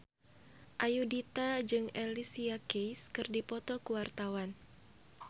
Ayudhita jeung Alicia Keys keur dipoto ku wartawan